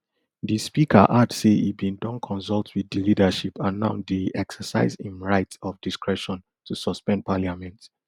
di speaker add say e bin don consult wit di leadership and now dey exercise im right of discretion to suspend parliament